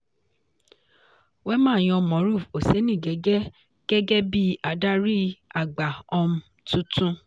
wema yan moruf osenigẹ́gẹ́ gẹ́gẹ́ bí adarí àgbà um tuntun.